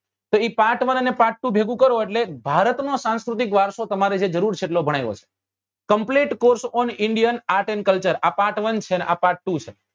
કે એ part one અને part two ભેગું કરો એટલે ભારત નો સાંસ્કૃતિક વારસો તમારે જે જરૂર છે એટલો ભણાવ્યો છે complete course on indian art and culture આ part one છે ને આ part two છે